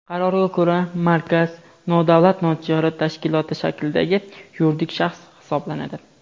Qarorga ko‘ra Markaz nodavlat notijorat tashkiloti shaklidagi yuridik shaxs hisoblanadi.